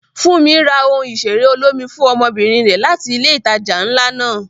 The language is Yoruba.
Funmi ra ohun ìṣeré olómi fún ọmọbìnrin rẹ̀ láti ilé ìtajà ńlá náà.